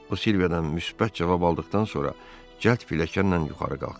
O Silviyadan müsbət cavab aldıqdan sonra cəld pilləkanla yuxarı qalxdı.